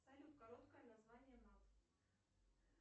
салют короткое название мат